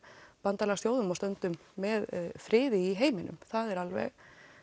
bandalagsþjóðum og stöndum með friði í heiminum það er alveg